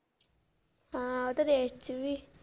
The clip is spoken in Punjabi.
ਹਾਂ ਉਹ ਤਾਂ ਚ ਵੀ।